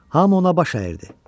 Hamı ona baş əydi.